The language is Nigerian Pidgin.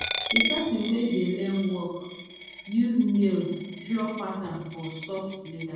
the person wey dey learn work use nail draw pattern for soft leather.